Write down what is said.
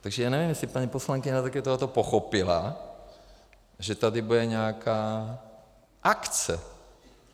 Takže já nevím, jestli paní poslankyně také tohle pochopila, že tady bude nějaká akce.